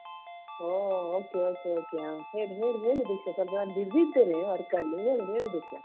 ಓ okay okay okay ಹೇಳು ಹೇಳು ಹೇಳು ದೀಕ್ಷಾ ಸ್ವಲ್ಪ ನಾನು busy ಇದ್ದೇನೆ work ಅಲ್ಲಿ ಹೇಳು ಹೇಳು ದೀಕ್ಷಾ.